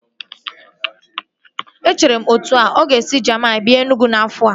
Echere m etu ahu, ọ ga-esi Jamini bịa Enugwu n'afọ a